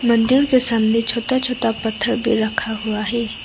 मंदिर के सामने छोटा छोटा पत्थर भी रखा हुआ है।